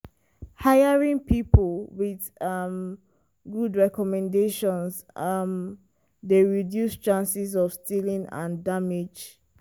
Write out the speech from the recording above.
hiring people with um good recommendations um dey reduce chances of stealing and damage.